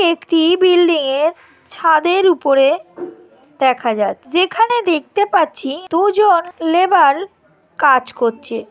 একটি বিল্ডিং এর ছাদের উপরে দেখা যায় যেখানে দেখতে পাচ্ছি দুজন লেবার কাজ করছে ।